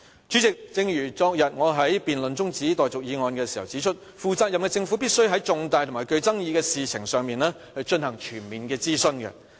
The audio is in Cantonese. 主席，正如我昨天在辯論中止待續議案時指出，負責任的政府必須在重大及具爭議的事情上，進行全面的諮詢。